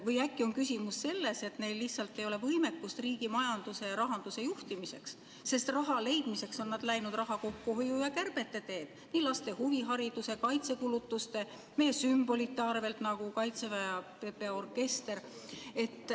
Või äkki on küsimus selles, et neil lihtsalt ei ole võimekust riigi majanduse ja rahanduse juhtimiseks, sest raha leidmiseks on nad läinud raha kokkuhoiu ja kärbete teed laste huvihariduse, kaitsekulutuste, meie sümbolite arvel, nagu Kaitseväe ja PPA orkester?